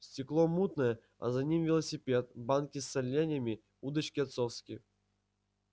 стекло мутное а за ним велосипед банки с соленьями удочки отцовские